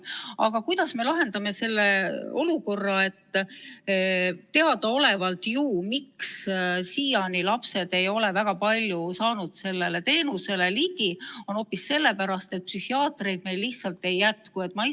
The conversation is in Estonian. Aga kuidas me lahendame selle olukorra, et teadaolevalt pole väga paljud lapsed siiani saanud sellele teenusele ligi hoopis sellepärast, et meil lihtsalt ei jätku psühhiaatreid?